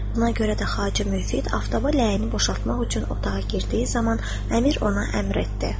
Buna görə də Xacə Müfid aftaba ləyəni boşaltmaq üçün otağa girdiyi zaman, Əmir ona əmr etdi.